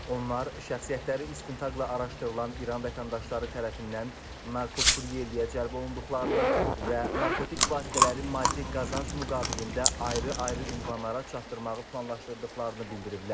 Onlar şəxsiyyətləri istintaqla araşdırılan İran vətəndaşları tərəfindən narkokuryerliyə cəlb olunduqlarını və narkotik vasitələri maddi qazanc müqabilində ayrı-ayrı ünvanlara çatdırmağı planlaşdırdıqlarını bildiriblər.